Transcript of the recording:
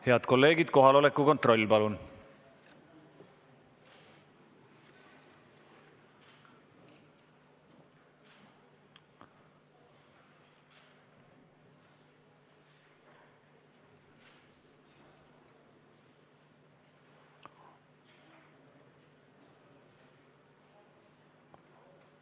Head kolleegid, kohaloleku kontroll palun!